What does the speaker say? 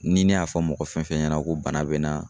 Ni ne y'a fɔ mɔgɔ fɛn fɛn ɲɛna ko bana be n na